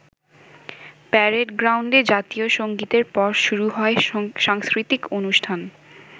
Parade গ্রাউন্ডে জাতীয় সঙ্গীতের পর শুরু হয় সাংস্কৃতিক অনুষ্ঠান।